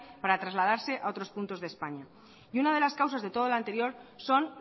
para trasladarse a otros puntos de españa y una de las causas de todo lo anterior son